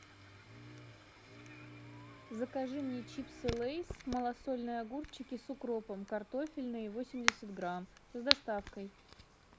закажи мне чипсы лейс малосольные огурчики с укропом картофельные восемьдесят грамм с доставкой